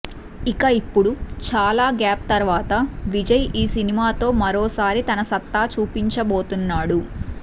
ఇక ఇప్పుడు చాల గ్యాప్ తర్వాత విజయ్ ఈ సినిమాతో మరోసారి తన సత్తా చూపించబోతున్నాడు